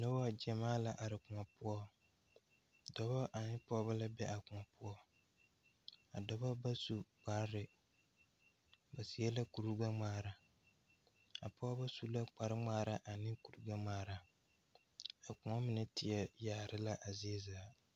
Nobɔ gyamaa la are kõɔ poɔ dɔbɔ ane pɔɔbɔ la be a kõɔ poɔ a dɔbɔ ba au kparre ba seɛ la kuri gbɛngmaara a pɔɔbɔ su la kpare ngmaara ane kuri gbɛngmaara a kõɔ mine teɛ yaare la a zie zaa.